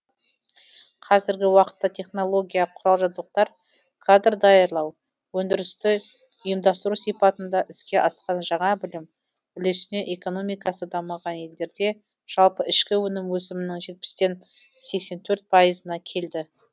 қазіргі уақытта технология құрал жабдықтар кадр даярлау өндірісті ұйымдастыру сипатында іске асқан жаңа білім үлесіне экономикасы дамыған елдерде жалпы ішкі өнім өсімінің жетпістен сексентөрт пайызына келді